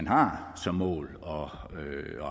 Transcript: har som mål og